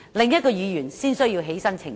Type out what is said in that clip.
所以，他才需要澄清。